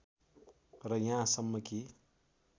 र यहाँसम्म कि